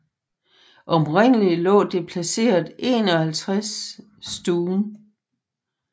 Oprindelig lå det placeret 51 St